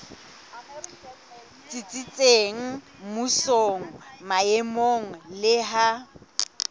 tsitsitseng mmusong maemong le ha